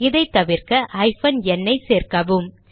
இதை தவிர்க்க hyphen n ஐ சேர்க்கவும்